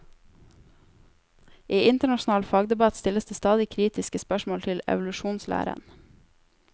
I internasjonal fagdebatt stilles det stadig kritiske spørsmål til evolusjonslæren.